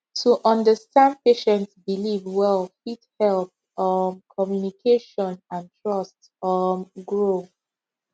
to understand patient belief well fit help um communication and trust um grow